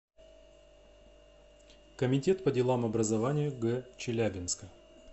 комитет по делам образования г челябинска